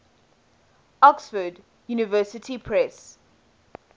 oxford university press